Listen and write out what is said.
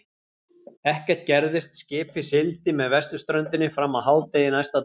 Ekkert gerðist, skipið sigldi með vesturströndinni fram að hádegi næsta dag.